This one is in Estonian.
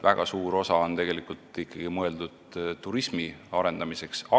Väga suur osa on seal tegelikult ikkagi turismi arendamiseks mõeldud.